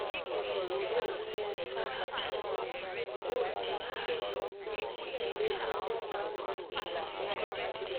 mo ríran sí sàràkí yóò di ààrẹ nàìjíríà lọ́dún twenty twenty three